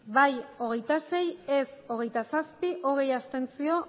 bai hogeita sei ez hogeita zazpi abstentzioak